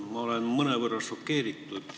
Ma olen mõnevõrra šokeeritud.